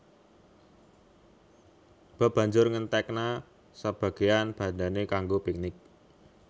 Bob banjur ngentekna sebageyan bandhané kanggo piknik